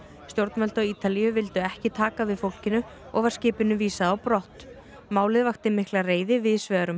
stjórnvöld á Ítalíu vildu ekki taka við fólkinu og var skipinu vísað á brott málið vakti mikla reiði víðs vegar um